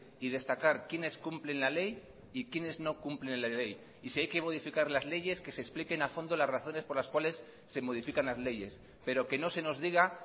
y destacar quiénes cumplen la ley y quiénes no cumplen la ley y si hay que modificar las leyes que se expliquen a fondo las razones por las cuales se modifican las leyes pero que no se nos diga